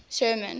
sherman